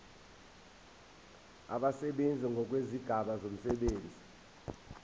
abasebenzi ngokwezigaba zomsebenzi